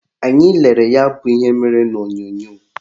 Anyị lelere ya bụ ihe mere n'onyonyo